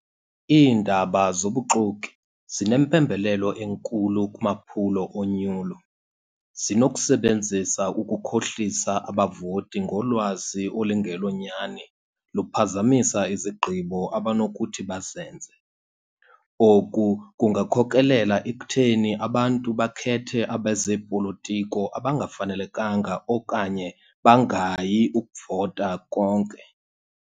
Iindaba zobuxoki zinempembelelo enkulu kumaphulo onyulo. Zinokusebenzisa ukukhohlisa abavoti ngolwazi olungelonyani, luphazamisa izigqibo abanokuthi bazenze. Oku kungakhokelela ekutheni abantu bakhethe abezeepolitiko abangafanelekanga okanye bangayi ukuvota konke.